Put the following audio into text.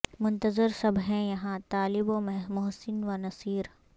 منتظر سب ہیں یہاں طالب و محسن و نصیر